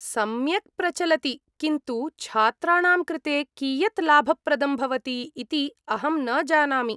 सम्यक् प्रचलति, किन्तु छात्राणां कृते कियत् लाभप्रदं भवति इति अहं न जानामि।